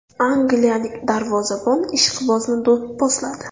Angliyalik darvozabon ishqibozni do‘pposladi .